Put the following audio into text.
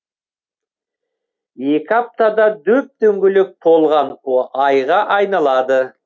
екі аптада дөп дөңгелек толған айға айналады